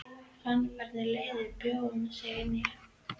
Ég fann hvernig reiðin bjó um sig innan í mér.